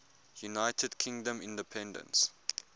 united kingdom independence